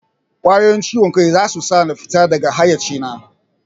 Ƙwayoyin ciwon kai zasu sa na fita daga haiyaci na